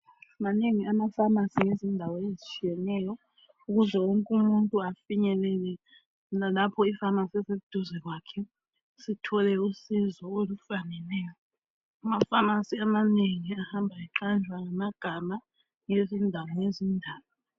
Manengi ama pharmacy endaweni ezitshiyatshiyeneyo ukuze wonke umuntu afinyelele lalapho I pharmacy eseduze kwakhe sithole usizo olufaneleyo. Ama pharmacy amanengi ahamba eqamjwa ngamagama ngezindawo lezindawo